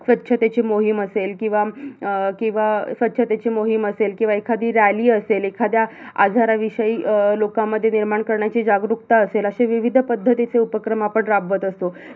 स्वच्छतेची मोहीम असेल, किवा अं किवा स्वच्छतेची मोहीम असेल किवा एखादी rally असेल, एखाद्या आजाराविषयी अं लोकांमध्ये निर्माण करण्याची जागरूकता असेल असे विविध पद्धतीचे उपक्रम आपण राबवत असतो